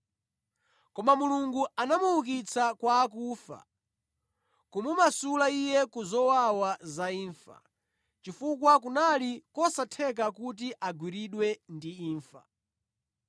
Koma Mulungu anamuukitsa kwa akufa, kumumasula Iye ku zowawa za imfa, chifukwa kunali kosatheka kuti agwiridwe ndi imfa.